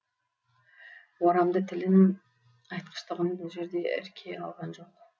орамды тілін айтқыштығын бұл жерде ірке алған жоқ